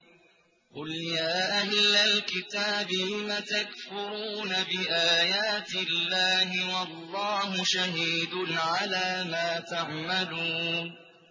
قُلْ يَا أَهْلَ الْكِتَابِ لِمَ تَكْفُرُونَ بِآيَاتِ اللَّهِ وَاللَّهُ شَهِيدٌ عَلَىٰ مَا تَعْمَلُونَ